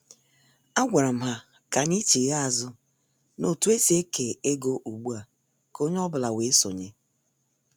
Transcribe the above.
A gwara m ha ka anyị chigha azụ n' otu esi eke ego ugbua ka onye ọ bụla wee sonye.